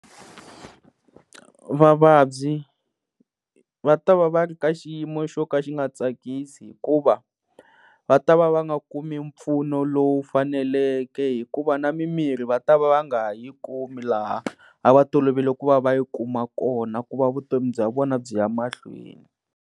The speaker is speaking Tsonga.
Vavabyi va ta va va ri ka xiyimo xoka xi nga tsakisi hikuva va ta va va nga kumi mpfuno lowu faneleke hikuva na mi miri va ta va va nga ha yi kumi laha a va tolovele ku va va yi kuma kona ku va vutomi bya vona byi ya mahlweni.